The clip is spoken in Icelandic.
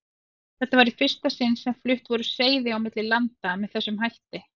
Þetta var í fyrsta sinni sem flutt voru seiði á milli landa með þessum hætti.